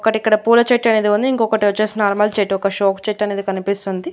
ఒకటి ఇక్కడ పూల చెట్టు అనేది ఉంది ఇంకొకటి వచ్చేసి నార్మల్ చెట్టు ఒక షో చెట్టు అనేది కనిపిస్తుంది.